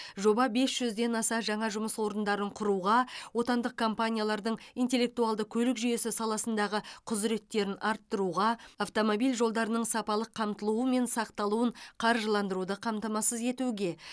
жоба бес жүзден аса жаңа жұмыс орындарын құруға отандық компаниялардың интеллектуалды көлік жүйесі саласындағы құзыреттерін арттыруға автомобиль жолдарының сапалық қамтылуы мен сақталуын қаржыландыруды қамтамасыз етуге